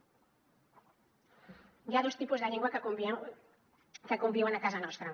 hi ha dos tipus de llengua que conviuen a casa nostra